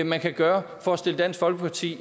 man kan gøre for at stille dansk folkeparti